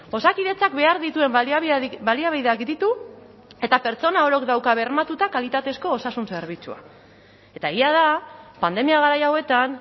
osakidetzak behar dituen baliabideak ditu eta pertsona orok dauka bermatuta kalitatezko osasun zerbitzua eta egia da pandemia garai hauetan